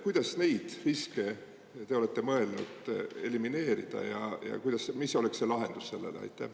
Kuidas neid riske te olete mõelnud elimineerida ja mis oleks see lahendus sellele?